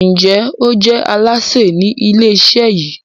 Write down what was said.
Njé o je Alásè Ni ilé iṣẹ yí?